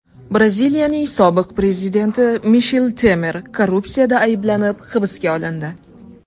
Braziliyaning sobiq prezidenti Mishel Temer korrupsiyada ayblanib hibsga olindi.